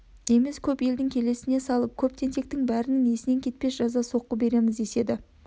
емес көп елдің келесіне салып көп тентектің бәрінің есінен кетпес жаза соққы береміз деседі